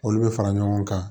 Olu bɛ fara ɲɔgɔn kan